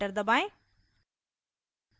enter दबाएं